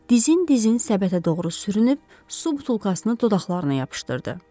Dizin-dizin səbətə doğru sürünüb, su butulkasını dodaqlarına yapışdırdı.